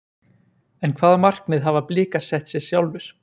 En hvaða markmið hafa Blikar sett sér sjálfir?